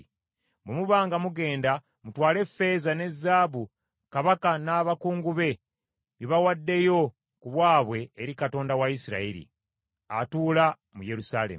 Bwe muba nga mugenda mutwale effeeza ne zaabu kabaka n’abakungu be bye bawaddeyo ku bwabwe eri Katonda wa Isirayiri, atuula mu Yerusaalemi,